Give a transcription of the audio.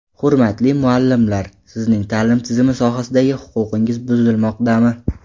Hurmatli muallimlar, sizning ta’lim tizimi sohasida huquqingiz buzilmoqdami?